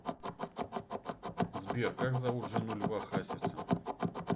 сбер как зовут жену льва хасиса